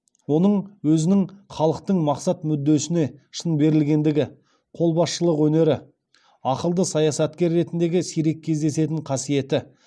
оның өзінің халықтың мақсат мүддесіне шын берілгендігі қолбасшылық өнері ақылды саясаткер ретіндегі сирек кездесетін қасиеті